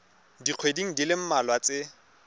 dikgweding di le mmalwa tse